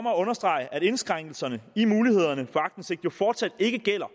at understrege at indskrænkelserne i mulighederne for aktindsigt jo fortsat ikke gælder